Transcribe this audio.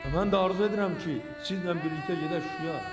Mən də arzu edirəm ki, sizlə bir yerdə gedək Şuşaya.